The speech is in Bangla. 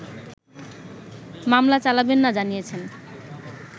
মামলা চালাবেন না জানিয়েছেন